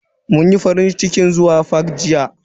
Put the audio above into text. Mun yi farincikin zuwa fak jiya.